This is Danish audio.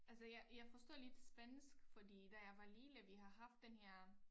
Altså jeg jeg forstår lidt spansk fordi da jeg var lille vi har haft den her